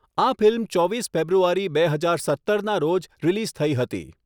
આ ફિલ્મ ચોવીસ ફેબ્રુઆરી બે હજાર સત્તરના રોજ રિલીઝ થઈ હતી.